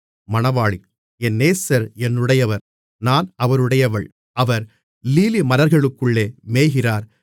என் நேசர் என்னுடையவர் நான் அவருடையவள் அவர் லீலிமலர்களுக்குள்ளே மேய்கிறார்